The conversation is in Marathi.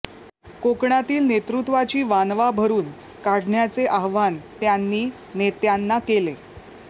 कोकणातील नेतृत्वाची वानवा भरून काढण्याचे आवाहन त्यांनी नेत्यांना केले